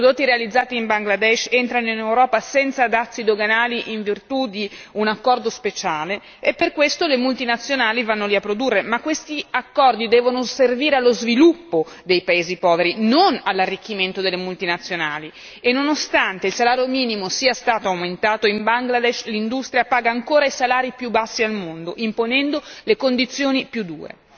I prodotti realizzati in Bangladesh entrano in Europa senza dazi doganali in virtù di un accordo speciale e per questo le multinazionali vanno lì a produrre, ma questi accordi devono servire allo sviluppo dei paesi poveri, non all'arricchimento delle multinazionali, e nonostante il salario minimo sia stato aumentato, in Bangladesh l'industria paga ancora i salari più bassi al mondo, imponendo le condizioni più dure.